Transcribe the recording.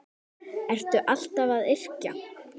Ertu alltaf að yrkja?